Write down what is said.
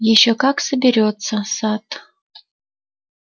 ещё как соберётся сатт